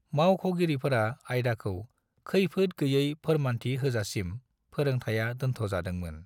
मावख'गिरिफोरा आयदाखौ खैफोद गैयै फोरमान्थि होजासिम फोरोंथाया दोन्थ' जादोंमोन।